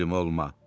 Təslim olma!